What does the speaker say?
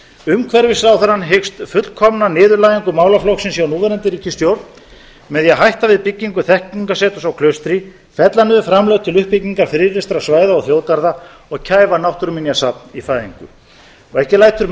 umhverfisráðherrann hyggst fullkomna niðurlægingu málaflokksins hjá núverandi ríkisstjórn með því að hætta við byggingu þekkingarseturs á klaustri fella niður framlög til uppbyggingar friðlýstra svæða og þjóðgarða og kæfa náttúruminjasafn í fæðingu og ekki lætur